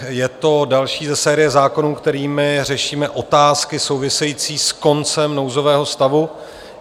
Je to další ze série zákonů, kterými řešíme otázky související s koncem nouzového stavu.